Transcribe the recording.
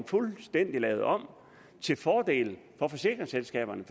fuldstændig lavet om til fordel for forsikringsselskaberne